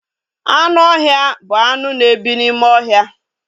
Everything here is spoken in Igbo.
Anụ ọhịa bụ anụ na ebi n'ime ohia